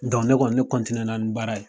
ne kɔni ne ni baara ye.